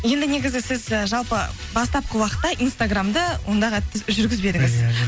енді негізі сіз і жалпы бастапқы уақытта инстаграмды ондай қатты жүргізбедіңіз иә